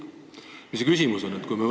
Milles küsimus on?